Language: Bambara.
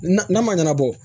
Na n'a ma ɲɛnabɔ